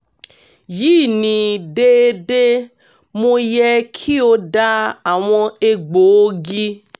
yi ni deede? mo yẹ ki o da awọn egboogi?